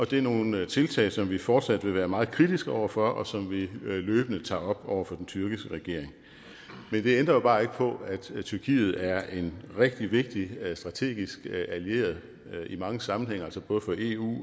det er nogle tiltag som vi fortsat vil være meget kritiske over for og som vi løbende tager op over for den tyrkiske regering men det ændrer jo bare ikke på at tyrkiet er en rigtig vigtig strategisk allieret i mange sammenhænge altså både for eu